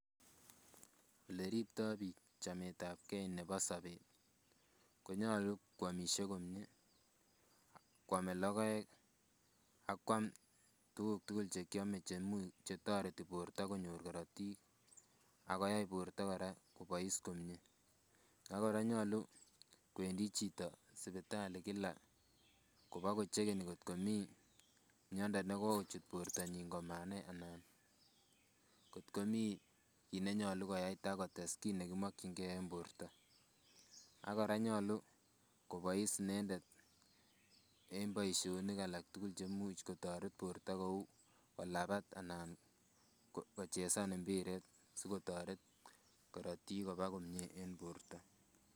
Ele ripto chameet ab kee nebo sobet konyolu koamisie komie koame logoek akoam tuguk tugul che kiame che toreti borta konyor korotiik ak koyai borta kora kobois komie ak kora nyolu kwendi jito sipitali kila kopagochegenin kot ko mii miando negokochut bortonyin komanai anan kotkomoi kiit ne nyolu koyai ta kotes ki negimokyin gee en borto ak kora konyolu kobois inendet en boisionik alak tugul cheimuch kotoret borto kou kolabat anan kochesan mpiret si kotoret korotiik koba komie en borto